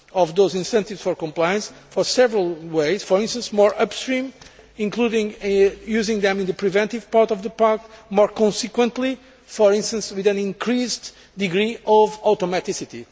Those incentives for compliance can be reinforced in several ways, for instance, more upstream, including using them in the preventive part of the Pact, or more consequently, for instance with an increased degree of automaticity.